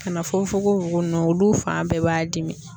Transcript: Ka na fo fokofoko nunnu olu fan bɛɛ b'a dimi